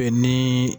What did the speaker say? Ni